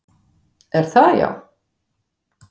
Er það já?